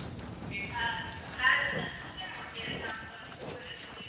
હારુ ત્યારે તુ સેનું અત્યારે કામ કરસ